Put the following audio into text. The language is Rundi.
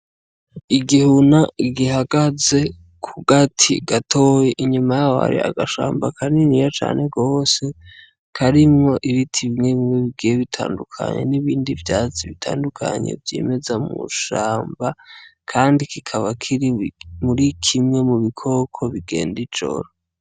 Igihuna gihagaze ku gati gatoyi inyuma yaho hari agashamba kaniniya cane gose karimwo ibiti bimwebimwe bigiye bitandukanye nibindi vyatsi bitandukanye vyimeza mu shamba, kandi kikaba kiri muri kimwe mu bikoko bigenda ijoro.